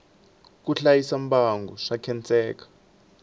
ku hlayisa mbango swa khenseka